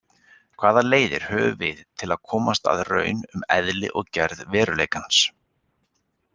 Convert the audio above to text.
Hvaða leiðir höfum við til að komast að raun um eðli og gerð veruleikans?